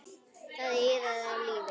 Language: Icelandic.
Það iðaði af lífi.